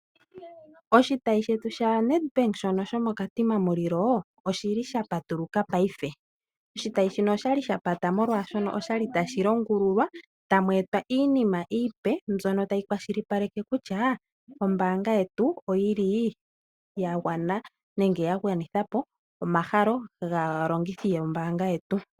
Oshitayi shetu sha NedBank shono shomo Katima Mulilo oshili sha patuluka Paife . Oshitayi shono oshali sha pata oshoka okwali tashi longululwa . Tamu etwa iinima iipe mbyono tayi kwashilipaleke kutya ombaanga yetu oyili ya gwanithapo omahala gaalongitho yombaanga yetu.